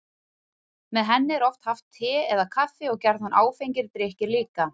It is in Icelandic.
Með henni er oft haft te eða kaffi og gjarnan áfengir drykkir líka.